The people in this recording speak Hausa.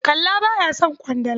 Kalla ba ya son ƙwandala.